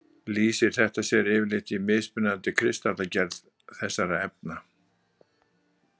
Lýsir þetta sér yfirleitt í mismunandi kristallagerð þessara efna.